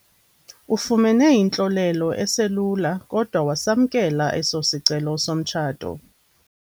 Ufumene intlolelo eselula kodwa wasamkela eso sicelo somtshato.